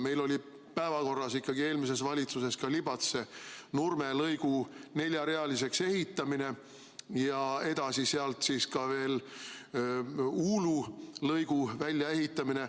Meil oli eelmises valitsuses päevakorras Libatse–Nurme lõigu neljarealiseks ehitamine ja sealt edasi ka Uulu lõigu väljaehitamine.